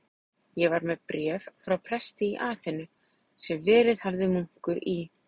Ég var með bréf frá presti í Aþenu, sem verið hafði munkur í